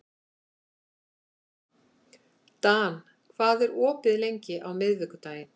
Dan, hvað er opið lengi á miðvikudaginn?